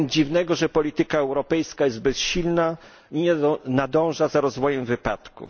Nic więc dziwnego, że polityka europejska jest bezsilna i nie nadąża za rozwojem wypadków.